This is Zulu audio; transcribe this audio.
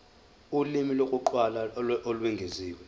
ulimi lokuqala olwengeziwe